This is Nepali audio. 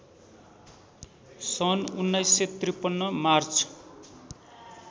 सन् १९५३ मार्च